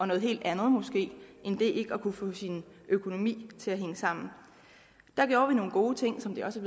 noget helt andet end det ikke at kunne få sin økonomi til at hænge sammen der gjorde vi nogle gode ting som det også